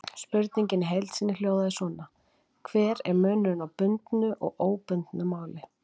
Spurningin í heild sinni hljóðaði svona: Hver er munurinn á bundnu og óbundnu máli?